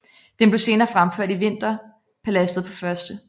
Den blev senere fremført i Vinterpaladset på 1